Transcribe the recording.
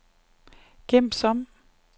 gem som